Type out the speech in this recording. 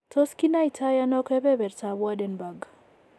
Tos kinaitano kebeberta ab Waardenburg?